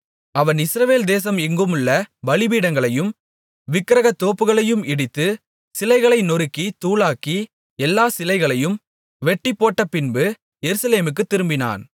அவன் இஸ்ரவேல் தேசம் எங்குமுள்ள பலிபீடங்களையும் விக்கிரகத் தோப்புகளையும் இடித்து சிலைகளை நொறுக்கித் தூளாக்கி எல்லாச் சிலைகளையும் வெட்டிப்போட்டபின்பு எருசலேமுக்குத் திரும்பினான்